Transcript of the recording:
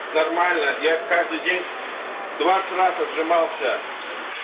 нормально я каждый день двадцать раз отжимался